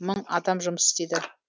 мың адам жұмыс істейді